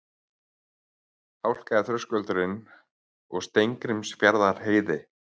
Hálka er á Þröskuldum og Steingrímsfjarðarheiði